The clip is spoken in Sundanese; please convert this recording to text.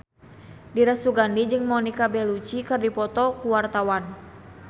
Dira Sugandi jeung Monica Belluci keur dipoto ku wartawan